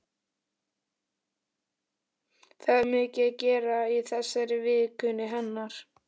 Það er svo mikið að gera í þessari vinnu hennar.